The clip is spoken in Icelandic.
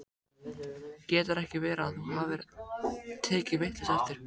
Getur ekki verið að þú hafir tekið vitlaust eftir?